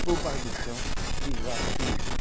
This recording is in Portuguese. Pôr baixo do chão. Fiz lá fiz